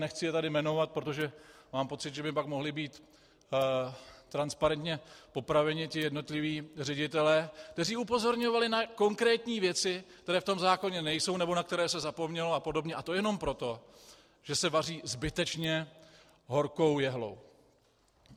Nechci je tady jmenovat, protože mám pocit, že by pak mohli být transparentně popraveni ti jednotliví ředitelé, kteří upozorňovali na konkrétní věci, které v tom zákoně nejsou nebo na které se zapomnělo a podobně, a to jenom proto, že se vaří zbytečně horkou jehlou.